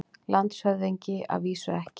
LANDSHÖFÐINGI: Að vísu ekki.